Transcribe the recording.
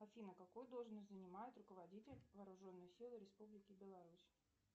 афина какую должность занимает руководитель вооруженных сил республики беларусь